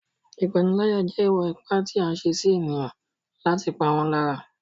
Ìpániláyà jẹ́ ìwà ipá tí a ń ṣe sí ènìyàn láti pa wọ́n lára.